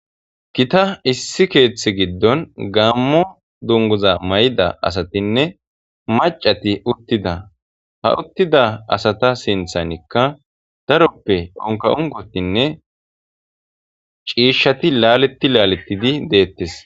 Giita issi keeththe giddon gammo dunguza may7da asatinne macati uttida ha uttida asata sinthanikka daroppe onka unkotinne ciishshati laaletti laaletidi deettes